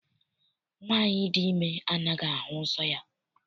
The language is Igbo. Nwaanyị dị ime anaghị ahụ nsọ ya.